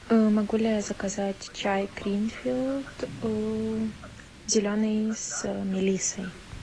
могу ли заказать чай гринфилд зеленый с мелиссой